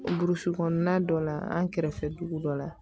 Burusi kɔnɔna dɔ la an kɛrɛfɛ dugu dɔ la